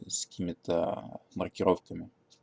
с какими-то маркировками